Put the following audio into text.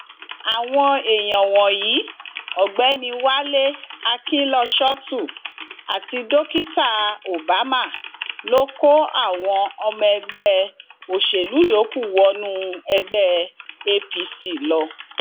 àwọn èèyàn wọnyí ọgbẹni wálé akinlọṣọtù àti dókítà obama ló kó àwọn ọmọ ẹgbẹ òṣèlú yòókù wọnú ẹgbẹ apc lọ